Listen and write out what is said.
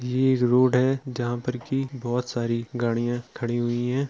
ये एक रोड है जहां पर की बहुत सारी गाड़ियाँ खड़ी हुई हैं ।